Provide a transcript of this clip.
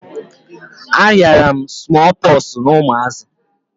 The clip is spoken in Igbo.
A ghara m smoo poxu na umazi